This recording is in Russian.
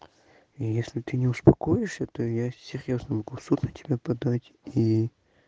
если ты не успокоишься то я серьёзно могу в суд на тебя подать и